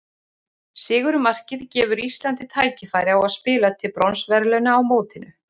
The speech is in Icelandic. Sigurmarkið gefur Íslandi tækifæri á að spila til bronsverðlauna á mótinu.